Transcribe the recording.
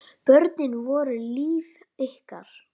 Börnin voru líf ykkar.